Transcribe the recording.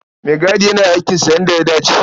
Maigadi yana aikinsa yadda ya dace.